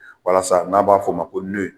Walasa n'a b'a fɔ o ma ko